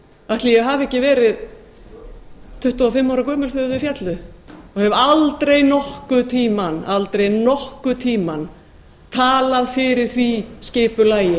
ætli ég hafi ekki verið tuttugu og fimm ára gömul þegar þau féllu og hef aldrei nokkurn tímann talað fyrir því skipulagi